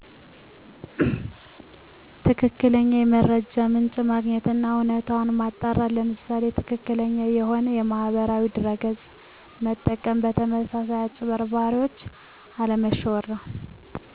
ትክክለኛ የመረጃውን ምንጭ ማግኘት አና እውነታውን ማጣራት ለምሳሌ ትክክለኛውን የሆነ ማህበራዊ ድረ ገፅ መጠቀም በተመሳሳይ አጭበርባሪዎች አለመሸወድ ነው